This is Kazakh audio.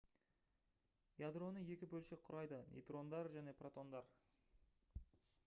ядроны екі бөлшек құрайды нейтрондар және протондар